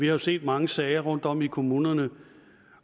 jo set mange sager rundtom i kommunerne